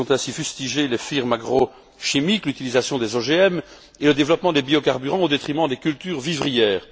Elles ont ainsi fustigé les firmes agrochimiques, l'utilisation des OGM et le développement des biocarburants au détriment des cultures vivrières.